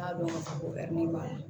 N y'a dɔn ka fɔ ko b'a la